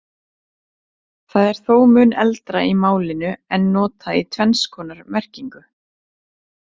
Það er þó mun eldra í málinu en notað í tvenns konar merkingu.